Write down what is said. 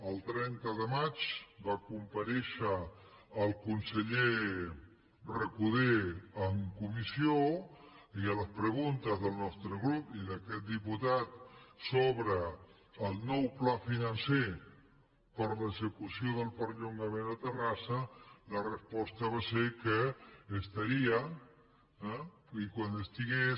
el trenta de maig va comparèixer el conseller recoder en comissió i a les preguntes del nostre grup i d’aquest diputat sobre el nou pla financer per a l’execució del perllongament a terrassa la resposta va ser que estaria eh i quan estigués